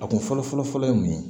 A kun fɔlɔfɔlɔ ye mun ye